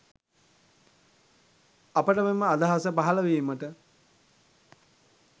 අපට මෙම අදහස පහල වීමට